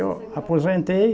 Eu aposentei